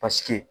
Paseke